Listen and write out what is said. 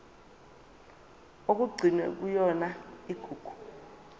okugcinwe kuyona igugu